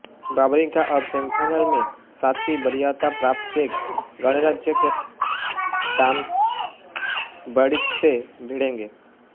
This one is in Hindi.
वावरिंका अब सेमीफाइनल में सातवीं वरीयता प्राप्त चेक गणराज्य के टॉमस बर्डिख से भिड़ेंगे